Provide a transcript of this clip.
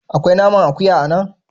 Akwai naman akuya a nan?